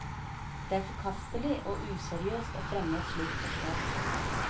Det er forkastelig og useriøst å fremme et slikt forslag.